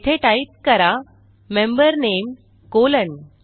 येथे टाईप करा मेंबर नामे कॉलन